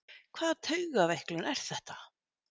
Hvaða taugaveiklun er þetta!